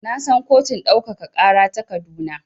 Na san kotun ɗaukaka ƙara ta Kaduna.